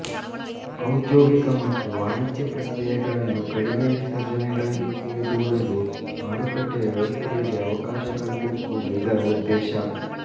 ಔದ್ಯೋಗಿಕ ಮತ್ತು ವಾಣಿಜ್ಯ ಪ್ರಕ್ರಿಯೆಗಳನ್ನು ಕಡಿಮೆ ವಿಸರ್ಜನೆಗಳ ದಿಕ್ಕಿಗೆ ದೂಡಲು ಮಾರುಕಟ್ಟೆಯ ವ್ಯವಸ್ಥೆಗಳಿಗೆ ಅವಕಾಶ ಕಲ್ಪಿಸುವುದು ಇದರ ಉದ್ದೇಶ